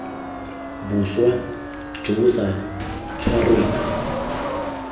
boswa jo bo sa tshwarweng